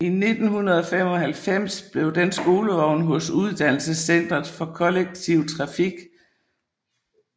I 1995 blev den skolevogn hos Uddannelsescentret for Kollektiv Trafik